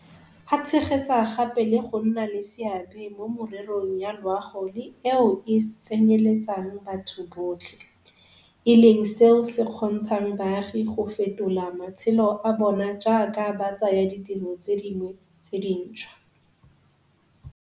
A tshegetsa gape le go nna le seabe mo mererong ya loago le eo e tsenyeletsang batho botlhe, e leng seo se kgontshang baagi go fetola matshelo a bona jaaka ba tsaya ditiro tse dingwe tse dintšhwa.